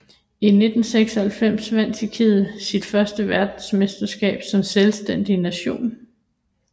I 1996 vandt Tjekkiet sit føste verdensmesterskab som selvstændig nation